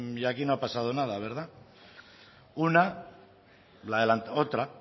y aquí no ha pasado nada otra